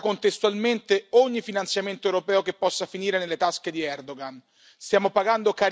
Va poi bloccato contestualmente ogni finanziamento europeo che possa finire nelle tasche di Erdogan.